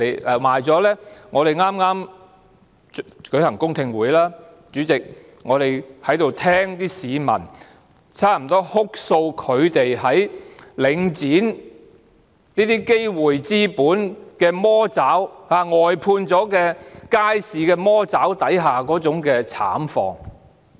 主席，在剛舉行的公聽會上，我們聽到市民哭訴他們在領展的資本魔爪、外判街市魔爪下的慘況。